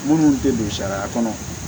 Minnu tɛ don sariya kɔnɔ